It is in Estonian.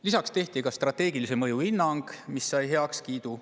Lisaks tehti strateegilise mõju hinnang, mis sai heakskiidu.